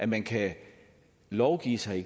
man kan lovgive give sig